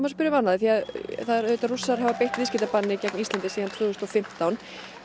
spyrja um annað því Rússar hafa beitt viðskiptabanni gegn Íslandi síðan tvö þúsund og fimmtán